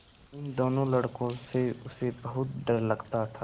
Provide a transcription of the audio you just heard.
इन दोनों लड़कों से उसे बहुत डर लगता था